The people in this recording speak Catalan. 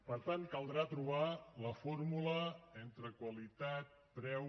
per tant caldrà trobar la fórmula entre qualitat preu